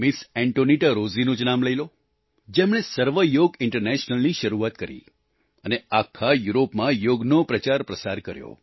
Antonietta Rossi તેનું જ નામ લઈ લો જેમણે સર્વ યોગ ઈન્ટરનેશનલ ની શરૂઆત કરી અને આખા યુરોપમાં યોગનો પ્રચારપ્રસાર કર્યો